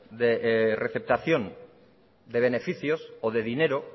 receptación de beneficios o de dinero